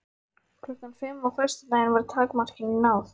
Klukkan fimm á föstudaginn var takmarkinu náð.